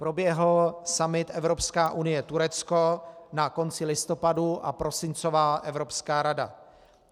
Proběhl summit Evropská unie - Turecko na konci listopadu a prosincová Evropská rada.